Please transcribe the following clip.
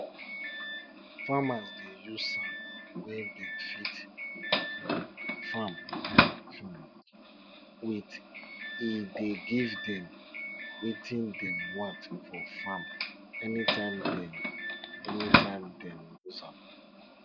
farmers dey use sand wey dem fit um farm um with e dey give dem wetin dem want for farm anytime dem anytime dem use am